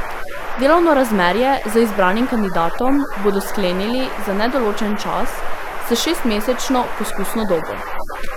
Delovno razmerje z izbranim kandidatom bodo sklenili za nedoločen čas s šestmesečno poskusno dobo.